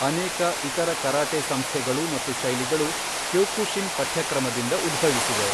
ಅನೇಕ ಇತರ ಕರಾಟೆ ಸಂಸ್ಥೆಗಳು ಮತ್ತು ಶೈಲಿಗಳು ಕ್ಯೋಕುಶಿನ್ ಪಠ್ಯಕ್ರಮದಿಂದ ಉದ್ಭವಿಸಿವೆ.